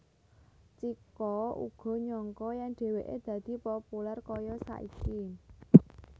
Chiko uga nyangka yèn dhèwèké dadi populèr kaya saiki